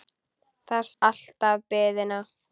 Það styttir alltaf biðina.